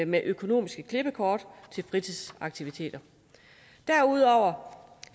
med økonomisk klippekort til fritidsaktiviteter derudover